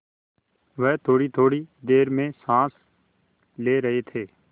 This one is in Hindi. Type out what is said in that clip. वह थोड़ीथोड़ी देर में साँस ले रहे थे